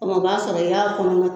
O kuma o b'a sɔrɔ i y'a kɔnɔ.